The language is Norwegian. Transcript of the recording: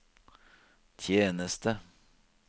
tjeneste